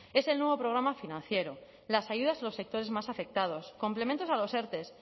es el nuevo programa financiero las ayudas a los sectores más afectados complementos a los erte